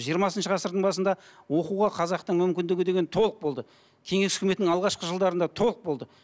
жиырмасыншы ғасырдың басында оқуға қазақта мүмкіндігі деген толық болды кеңес үкіметінің алғашқы жылдарында толық болды